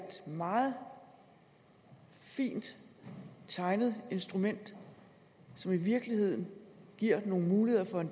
meget fint tegnet instrument som i virkeligheden giver os nogle muligheder for at